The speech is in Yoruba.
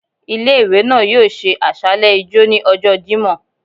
Ìlé-ìwé náá yoo ṣe àsàlẹ ijọ́ ni ọjọ Jimọ